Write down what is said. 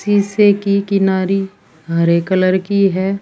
शीशे की किनारी हरे कलर की है।